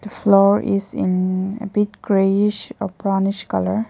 The floor is in a bit greyish or brownish colour.